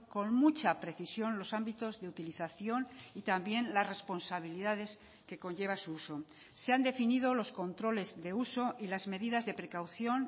con mucha precisión los ámbitos de utilización y también las responsabilidades que conlleva su uso se han definido los controles de uso y las medidas de precaución